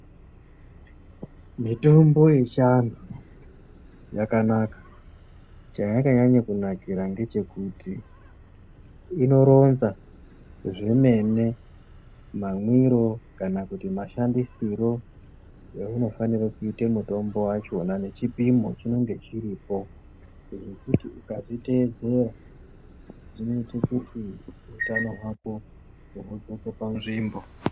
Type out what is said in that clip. Mitombo yechiAntu yakanaka ,chayakanyanya kunakirwa ndechekuti inoronza zvomene mamwiro kana kuti mashandisiro aunofanire kuita mutombo wachona nechipimo chinonga chiripo , zvekuti ukazviteedzera zvinoita kuti utano hwako hupetuke panzvimbo.